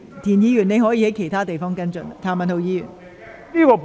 田議員，你可在其他場合跟進有關事宜。